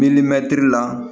la